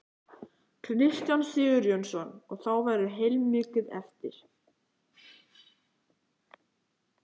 Kristján Sigurjónsson: Og þá verður heilmikið eftir?